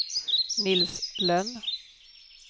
Nils Lönn